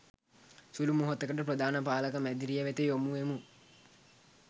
සුළු මොහොතකට ප්‍රධාන පාලක මැදිරිය වෙත යොමුවෙමු